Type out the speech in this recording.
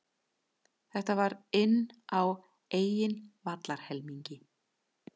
Þetta var inn á eigin vallarhelmingi.